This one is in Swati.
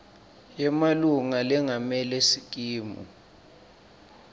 yemalunga lengamele sikimu